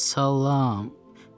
Saaalaam!